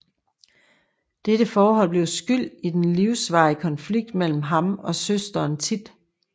Dette forhold blev skyld i den livsvarige konflikt mellem ham og søsteren Thit